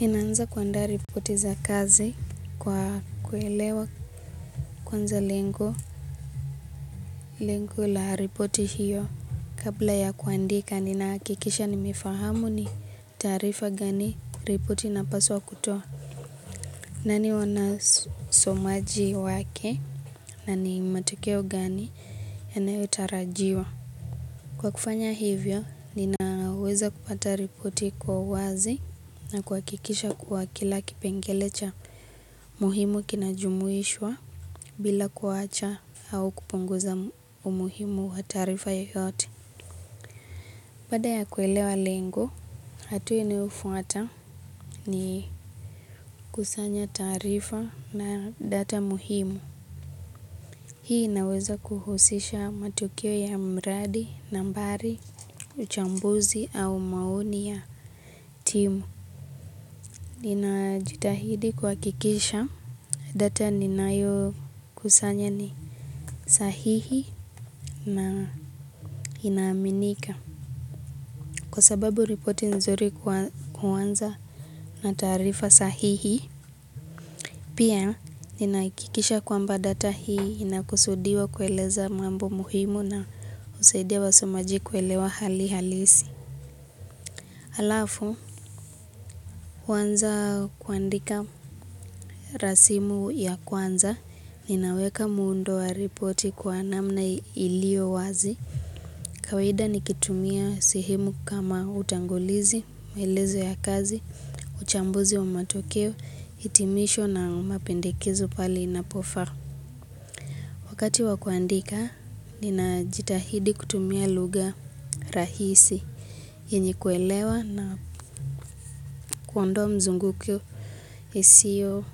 Ninaanza kuandaa ripoti za kazi kwa kuelewa kwanza lengo la ripoti hiyo. Kabla ya kuandika, ninahakikisha nimefahamu ni taarifa gani ripoti napaswa kutoa. Nani wana somaji wake na ni matokeo gani yanayotarajiwa. Kwa kufanya hivyo, ninaweza kupata ripoti kwa uwazi na kuhakikisha kuwa kila kipengele cha. Muhimu kinajumuishwa bila kuwacha au kupunguza umuhimu wa taarifa yoyote. Baada ya kuelewa lengo, hatua inayofuata ni kusanya taarifa na data muhimu. Hii inaweza kuhusisha matokeo ya mradi, nambari, uchambuzi au maoni ya timu. Ninajitahidi kuhakikisha data ninayokusanya ni sahihi na inaaminika. Kwa sababu ripoti nzuri kuanza na taarifa sahihi. Pia ninahakikisha kwamba data hii inakusudiwa kueleza mambo muhimu na husaidia wasomaji kuelewa hali halisi. Alafu, kwanza kuandika rasimu ya kwanza ninaweka muundo wa ripoti kwa namna iliyowazi. Kawida nikitumia sehemu kama utangulizi, maelezo ya kazi, uchambuzi wa matokeo, hitimisho na mapendekezo pahali inapofaa. Wakati wa kuandika, ninajitahidi kutumia lugha rahisi yenye kuelewa na kuondoa mzungukio isio